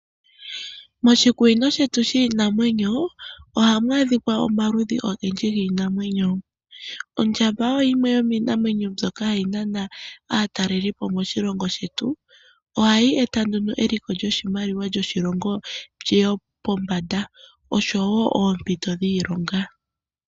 Moshikunino shetu shiinamwenyo ohamu adhika omaludhi ogendji giinamwenyo. Ondjamba oyo yimwe yomiinamwenyo mbyoka hayi nana aatalelipo moshilongo shetu. Ohadhi eta nduno eliko lyoshimaliwa lyoshilongo liye pombanda osho wo oompito dhiilonga.